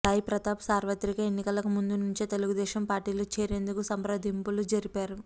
సాయిప్రతాప్ సార్వత్రిక ఎన్నికలకు ముందు నుంచే తెలుగుదేశం పార్టీలో చేరేందుకు సంప్రదింపులు జరిపారు